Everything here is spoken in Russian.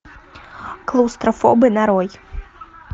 клаустрофобы нарой